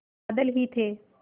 बादल ही थे